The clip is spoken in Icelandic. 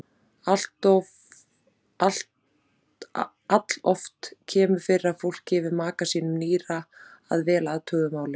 Alloft kemur fyrir að fólk gefi maka sínum nýra að vel athuguðu máli.